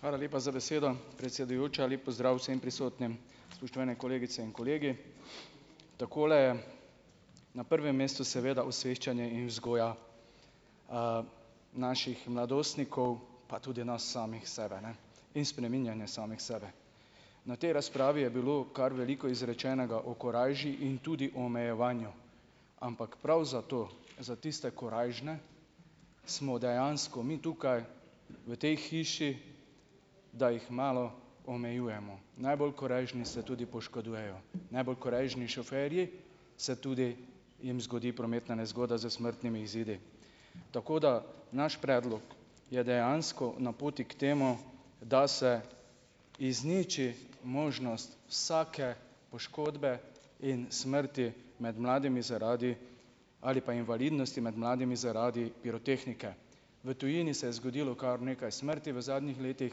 Hvala lepa za besedo, predsedujoča. Lep pozdrav vsem prisotnim. Spoštovane kolegice in kolegi. Takole, na prvem mestu seveda osveščanje in vzgoja, naših mladostnikov, pa tudi nas samih sebe, ne. In spreminjanje samih sebe. Na tej razpravi je bilo kar veliko izrečenega o korajži in tudi o omejevanju. Ampak prav zato, za tiste korajžne, smo dejansko mi tukaj, v tej hiši, da jih malo omejujemo. Najbolj korajžni se tudi poškodujejo. Najbolj korajžni šoferji se tudi jim zgodi prometna nezgoda s smrtnimi izidi. Tako, da naš predlog je dejansko na poti k temu , da se izniči možnost vsake poškodbe in smrti med mladimi zaradi ali pa invalidnosti med mladimi zaradi pirotehnike. V tujini se je zgodilo kar nekaj smrti v zadnjih letih,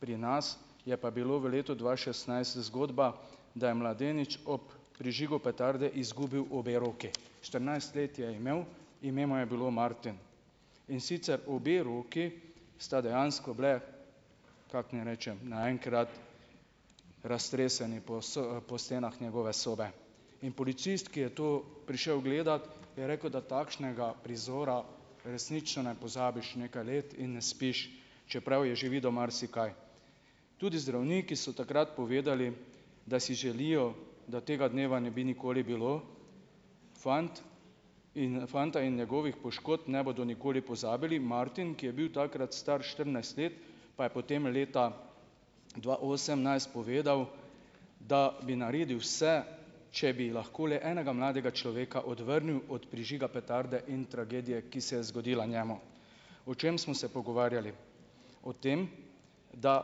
pri nas je pa bilo v letu dva šestnajst zgodba, da je mladenič ob prižigu petarde izgubil obe roki. Štirinajst let je imel, ime mu je bilo Martin. In sicer obe roki sta dejansko bili, kako naj rečem, naenkrat raztreseni po po stenah njegove sobe. In policist, ki je to prišel gledat je rekel, da takšnega prizora resnično ne pozabiš nekaj let in ne spiš, čeprav je že videl marsikaj. Tudi zdravniki so takrat povedali, da si želijo, da tega dneva ne bi nikoli bilo, fant, in fanta in njegovih poškodb ne bodo nikoli pozabili. Martin, ki je bil takrat star štirinajst let, pa je potem leta dva osemnajst povedal, da bi naredil vse, če bi lahko le enega mladega človeka odvrnil od prižiga petarde in tragedije, ki se je zgodila njemu. O čem smo se pogovarjali? O tem, da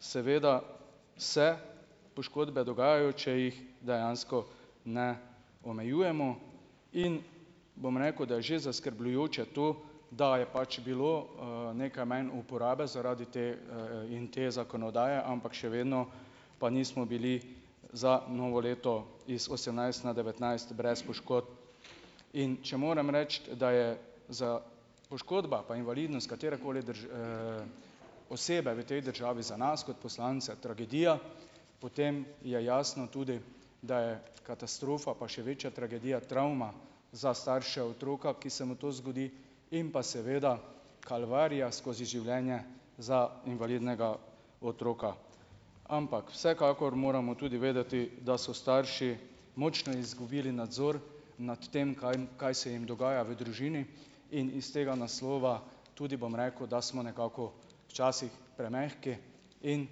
seveda se poškodbe dogajajo, če jih dejansko ne omejujemo, in bom rekel, da je že zaskrbljujoče to, da je pač bilo, nekaj manj uporabe zaradi te, in te zakonodaje, ampak še vedno pa nismo bili za novo leto iz osemnajst na devetnajst brez poškodb. In če moram reči, da je poškodba pa invalidnost katerekoli osebe v tej državi za nas kot poslance tragedija, potem je jasno tudi, da je katastrofa pa še večja tragedija travma za starše otroka, ki se mu to zgodi, in pa seveda kalvarija skozi življenje za invalidnega otroka. Ampak vsekakor moramo tudi vedeti, da so starši močno izgubili nadzor nad tem kaj, kaj se jim dogaja v družini, in iz tega naslova tudi, bom rekel, da smo nekako včasih premehki in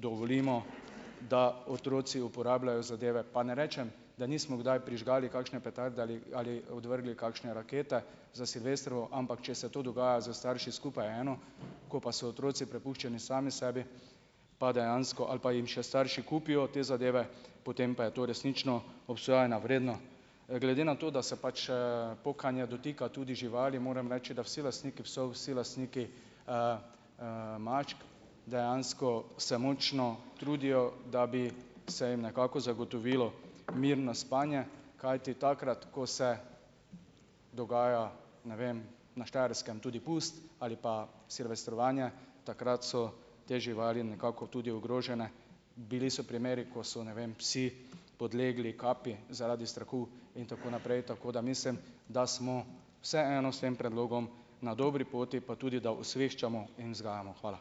dovolimo , da otroci uporabljajo zadeve. Pa ne rečem, da nismo gdaj prižgali kakšne petarde ali, ali odvrgli kakšne rakete za silvestrovo, ampak če se to dogaja s starši skupaj je eno, ko pa so otroci prepuščeni sami sebi, pa dejansko, ali pa im še starši kupijo te zadeve, potem pa je to resnično obsojanja vredno. glede na to, da se pač, pokanje dotika tudi živali, moram reči, da vsi lastniki psov, vsi lastniki, mačk dejansko se močno trudijo, da bi se jim nekako zagotovilo mirno spanje, kajti takrat, ko se dogaja, ne vem, na Štajerskem tudi pusti ali pa silvestrovanje, takrat so te živali nekako tudi ogrožene. Bili so primeri, ko so, ne vem, psi podlegli kapi zaradi strahu in tako naprej. Tako da mislim, da smo vseeno s tem predlogom na dobri poti, pa tudi, da osveščamo in vzgajamo. Hvala.